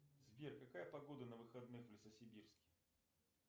сбер какая погода на выходных в лесосибирске